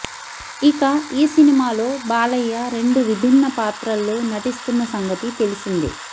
ఇక ఈ సినిమాలో బాలయ్య రెండు విభిన్న పాత్రల్లో నటిస్తున్న సంగతి తెలిసిందే